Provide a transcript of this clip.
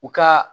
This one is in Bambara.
U ka